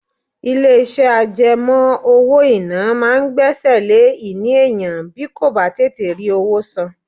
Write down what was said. Ilé iṣẹ́ àjẹmó owó-ìná máa ń gbẹ́sẹ̀ lé ìní èèyàn bí kò bá tètè rí owó san.